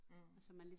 Mh